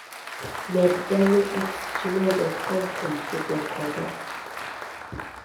med dale at gmail do kom kuom tudruok koda